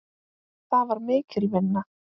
Það var mikil vinna.